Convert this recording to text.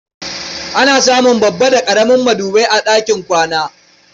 Ana samun babba da ƙaramin madubai a ɗakin kwana.